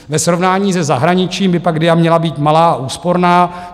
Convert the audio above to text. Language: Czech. Ve srovnání se zahraničím by pak DIA měla být malá a úsporná.